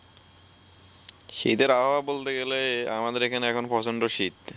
শীতের আবহাওয়া বলতে গেলে আমাদের এখানে এখন প্রচন্ড শীত ।